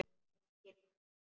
Engin orð.